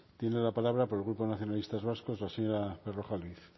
tiene la palabra por el grupo nacionalistas vascos la señora berrojalbiz